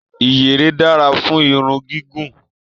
Iyere dára fún irun gígùn.